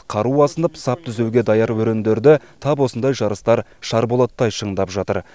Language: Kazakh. қару асынып сап түзеуге даяр өрендерді тап осындай жарыстар шарболаттай шыңдап жатыр